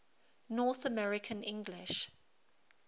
north american english